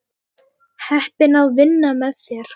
Heppin að vinna með þér.